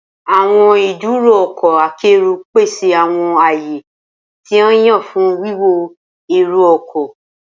Awọn iduro ọkọ akero pese awọn aaye ti a yan fun wiwọ ero-ọkọ.